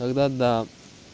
тогда да